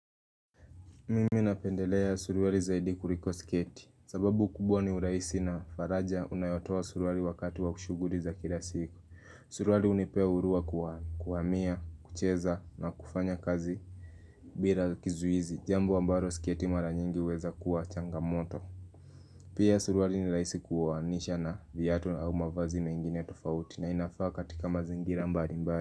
Mimi napendelea suruali zaidi kuliko sketi. Sababu kubwa ni urahisi na faraja unayotoa suruali wakati wa kushughulika kila siku. Suruali hunipea huruwa kuwania, kucheza na kufanya kazi bila kizuizi. Jambo ambalo sketi mara nyingi huweza kuwa changamoto. Pia suruali ni rahisi kuhamisha na viatu au mavaazi mengine tofauti na inafaa katika mazingira mbali mbali.